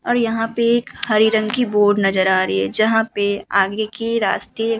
और यहाँ पे एक हरे रंग की बोर्ड नजर आ रही है जहां पे आगे के रास्ते --